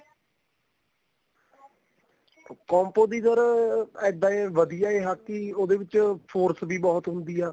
compo ਦੀ sir ਇੱਦਾਂ ਏ ਵਧੀਆ ਏ ਹਾਕੀ ਉਹਦੇ ਵਿੱਚ force ਵੀ ਬਹੁਤ ਹੁੰਦੀ ਆ